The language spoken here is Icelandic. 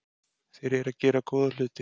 Þeir eru að gera góða hluti.